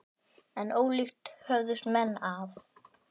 En ólíkt höfðust menn að.